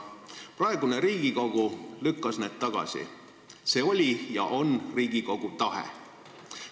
Praegune Riigikogu lükkas need tagasi, see oli ja on Riigikogu tahe.